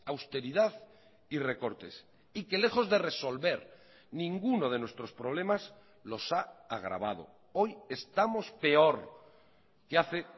austeridad y recortes y que lejos de resolver ninguno de nuestros problemas los ha agravado hoy estamos peor que hace